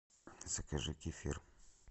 закажи кефир